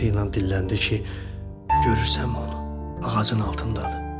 Fısıltı ilə dilləndi ki, görürsən onu ağacın altındadır.